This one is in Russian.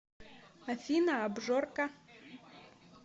афина абжорка